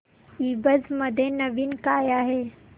ईबझ मध्ये नवीन काय आहे